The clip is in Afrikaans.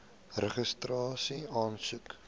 registrasieaansoek